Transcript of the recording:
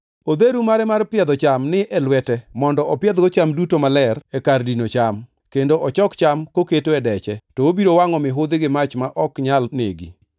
Odheru mare mar piedho cham ni e lwete mondo opiedhgo cham duto maler e kar dino cham, kendo ochok cham koketo e deche, to obiro wangʼo mihudhi gi mach ma ok nyal negi.”